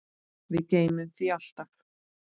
Við gleymum því alltaf